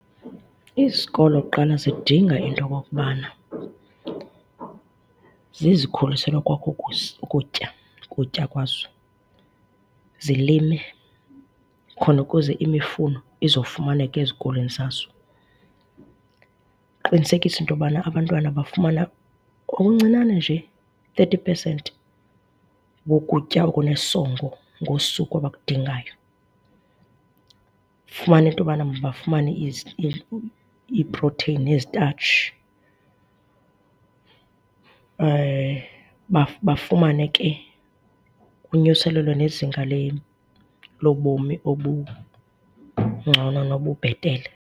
Izikolo kuqala zidinga into okokubana zizikhulisele okoko ukutya, ukutya kwazo, zilime khona ukuze imifuno izofumaneka ezikolweni zazo. Kuqinisekiswe uba abantwana bafumana okuncinane nje thirty pesenti wokutya okunesongo ngosuku abakudingayo. Ufumane into yobana mabafumane iiproteyini neezitatshi. Bafumane ke ukunyuselelwa nezinga lobomi obungcono nobubhetele.